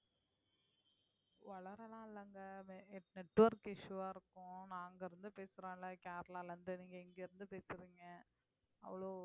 உளரல்லாம் இல்லைங்க network issue ஆ இருக்கும் நான் அங்கிருந்து பேசறேன்ல கேரளால இருந்து நீங்க இங்கிருந்து பேசுறீங்க அவ்ளோ